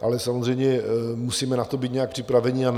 Ale samozřejmě musíme na to být nějak připraveni, a